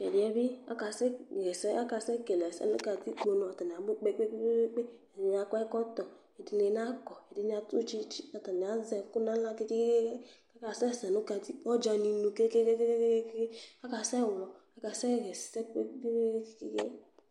Tu ɛdi yɛ bi akasɛɣa ɛsɛ akasɛkele ɛsɛ nu katikponu atani abu kpekpekpe edini akɔ ɛkɔtɔ edini nakɔ ɛdini adu tsitsi atani azɛ ɛku nu aɣla kekekeke akasɛsɛ nu ɔdzaninu kekekeke akasɛɣlɔ akasɛɣa ɛsɛ kpekpekpekpe